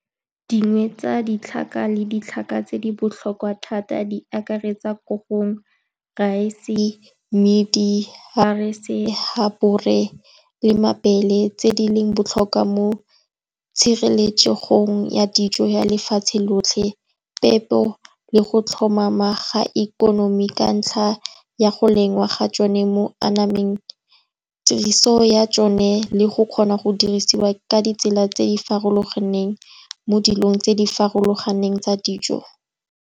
Dingwe tsa ditlhaka le ditlhaka tse di botlhokwa thata, di akaretsa korong, rice, mmidi le mabele, tse di leng botlhokwa mo tshireletsegong ya dijo ya lefatshe lotlhe, peto le go tlhomama ga ikonomi ka ntlha ya go lengwa ga tsone mo anameng, tiriso ya tsone le go kgona go dirisiwa ka ditsela tse di farologaneng mo dilong tse di farologaneng tsa dijo.